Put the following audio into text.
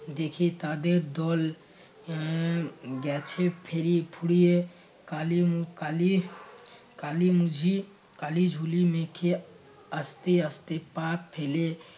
দেখি তাদের দল এর গেছে ফেরি~ ফুরিয়ে কালিম কালি কালিম জি কালি ঝুলি মেখে আস্তে আস্তে পা ফেলে